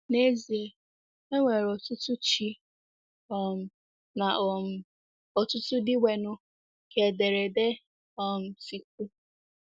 N’ezie, “e nwere ọtụtụ ‘ chi ’ um na um ọtụtụ ‘ dịnwenụ, ’” ka ederede um si kwuu.